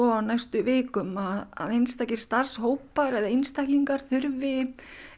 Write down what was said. á næstu vikum að að einstakir starfshópar eða einstaklingar þurfi